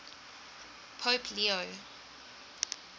pope leo